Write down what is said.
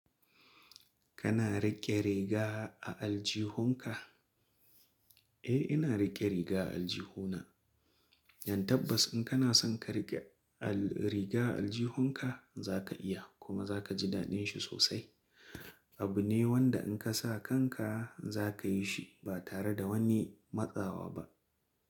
Kana riƙe riga a aljihunka? Eh ina riƙe riga a aljihuna. Yan tabbas in kana son ka riƙe al-riga a aljihunka za ka iya kuma za ka ji daɗin shi sosai. Abu ne wanda in ka sa kanka za ka yi shi ba tare da wani matsawa ba.